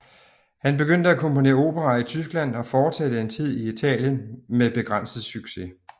Han begyndte at komponere operaer i Tyskland og fortsatte en tid i Italien med begrænset succes